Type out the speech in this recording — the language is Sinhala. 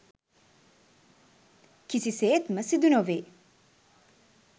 කිසිසේත්ම සිදු නොවේ.